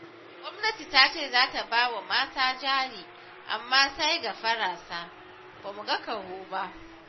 Gwamnati ta ce za ta ba wa mata jari, amma sai gafara sa, ba mu ga ƙaho ba